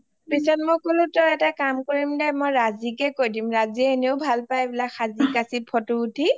ওমমম পিছত মই কলোঁ তই এটা কাম কৰিম দে মই ৰাজিকে কয় দিম ৰাজিয়ে এনেও ভাল পাই সাজি কাঁচি photo উঠি